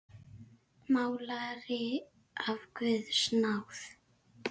Málari af guðs náð.